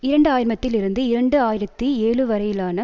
இரண்டு ஆயிரம்த்தில் இருந்து இரண்டு ஆயிரத்தி ஏழுவரையிலான